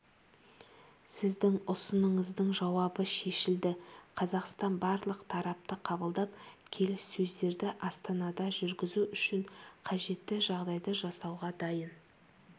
сіздің ұсынысыңыздың жауабы шешілді қазақстан барлық тарапты қабылдап келіссөздерді астанада жүргізу үшін қажетті жағдайды жасауға дайын